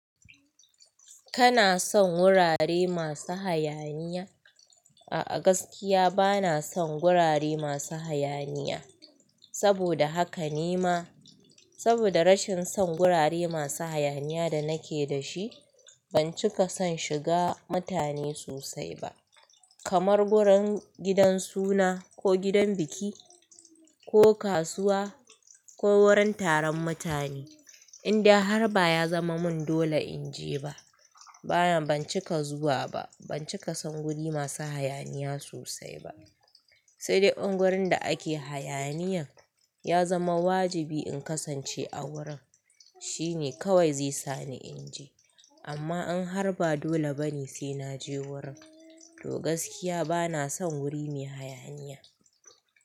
Kana son wurare masu hayaniya? A'a, gaskiya ba na son gurare masu hayaniya. Saboda haka ne ma, saboda rashin son gurare masu hayaniya da nake da shi, ban cika son shiga mutane sosai ba. Kamar wurin gidan suna ko gidan biki ko kasuwa ko wurin taron mutane. Indai har ba ya zama mun dole in je ba, bana, ban cika zuwa ba. Ban cika son wuri masu hayaniya sosai ba. Sai dai in wurin da ake hayaniyan ya zama wajibi in kasance a wurin, shine kawai zai sani in je. Amma in har ba dole bane sai na je wurin, to gaskiya ba na son wuri mai hayaniya.